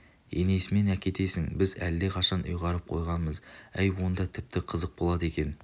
енесімен әкетесің біз әлдеқашан ұйғарып қойғамыз әй онда тіпті қызық болады екен